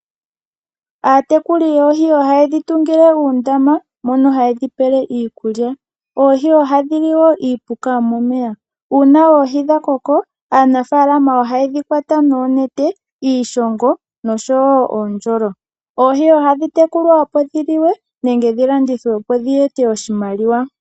Aatekuli yoohi ohayedhi tungile uundama mono hayedhi pele iikulya. Oohi oha dhi li woo iipuka yomomeya . Uuna oohi dha koko aanafaalama ohayedhi kwata noonete, iishongo nosho woo uundjolo. Oohi ohadhi tekulwa opo dhi liwe nenge dhi landithwe opo dhi ete oshimaliwa.